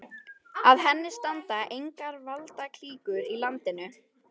Að henni standa engar valdaklíkur í landinu.